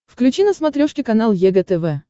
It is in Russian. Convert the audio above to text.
включи на смотрешке канал егэ тв